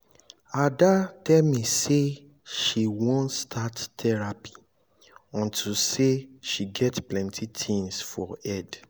ada tell me say she wan start therapy unto say she get plenty things for head